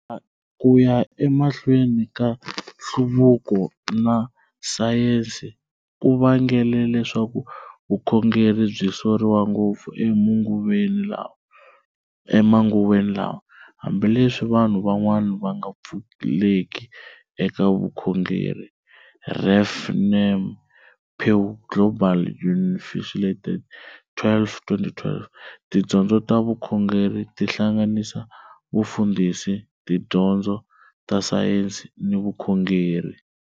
Kuya emahlweni ka nhluvuko na sayensi, ku vangele leswaku vukhongeri byi soriwa ngopfu e manguveni lawa, hambileswi vanhu van'wana vanga pfuleki eka vukhongeri, ref namePew Global Unaffiliated 12-2012 Tidyondzo ta vukhongeri ti hlanganisa, Vufundhisi, tidyondzo ta sayensi ni vukhongeri.